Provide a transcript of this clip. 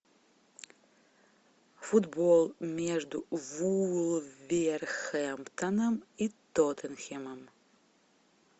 футбол между вулверхэмптоном и тоттенхэмом